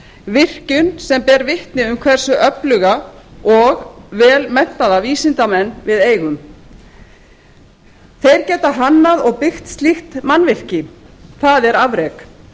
virkjun sem ber vitni um hversu öfluga og vel menntaða vísindamenn við eigum þeir geta hannað og byggt slíkt mannvirki það er afrek